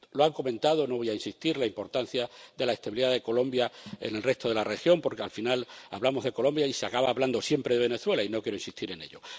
Han comentado —no voy a insistir— la importancia de la estabilidad de Colombia en el resto de la región, porque al final hablamos de Colombia y se acaba hablando siempre de Venezuela y no quiero insistir en ello.